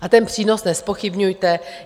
A ten přínos nezpochybňujte.